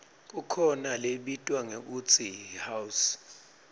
kukhona lebitwa ngekutsi yihouse